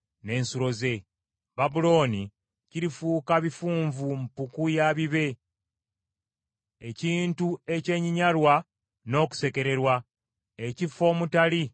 Babulooni kirifuuka bifunvu, mpuku ya bibe, ekintu ekyenyinyalwa n’okusekererwa, ekifo omutali abeeramu.